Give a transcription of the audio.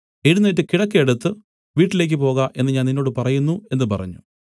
എഴുന്നേറ്റ് കിടക്ക എടുത്തു വീട്ടിലേക്ക് പോക എന്നു ഞാൻ നിന്നോട് പറയുന്നു എന്നു പറഞ്ഞു